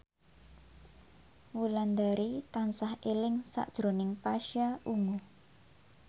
Wulandari tansah eling sakjroning Pasha Ungu